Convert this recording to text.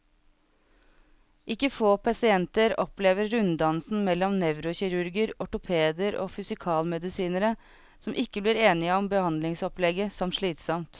Ikke få pasienter opplever runddansen mellom nevrokirurger, ortopeder og fysikalmedisinere, som ikke blir enige om behandlingsopplegget, som slitsom.